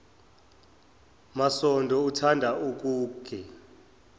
masondo uthanda ukuke